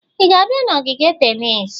Ị ga-abịa n'ogige tennis?